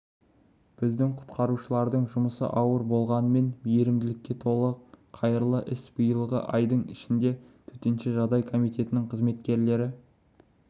біздің құтқарушылардың жұмысы ауыр болғанымен мейірімділікке толы қайырлы іс биылғы айдың ішінде төтенше жағдай комитетінің қызметкерлері